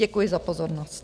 Děkuji za pozornost.